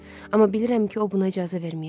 Amma bilirəm ki, o buna icazə verməyəcək.